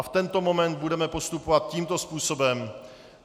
A v tento moment budeme postupovat tímto způsobem.